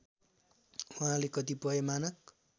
उहाँले कतिपय मानक